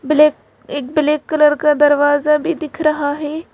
Black एक black colour का दरवाजा भी दिख रहा है।